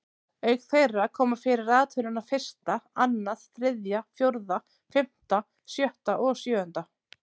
Auk þeirra koma fyrir raðtölurnar fyrsta, annað, þriðja, fjórða, fimmta, sjötta og sjöunda.